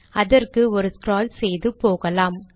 அதற்கு ஒரு ஸ்க்ரால் செய்து போகலாம்